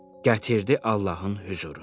Gətirdi Allahın hüzuruna.